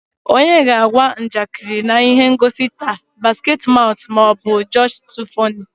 Onye ga-agwa njakịrị na ihe ngosi taa Basketmouth ma ọ bụ Josh2funny?